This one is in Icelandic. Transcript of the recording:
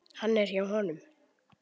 Hann er hjá honum.